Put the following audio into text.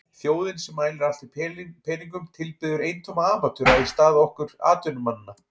Þjóðin sem mælir allt í peningum tilbiður eintóma amatöra í stað okkar atvinnumannanna.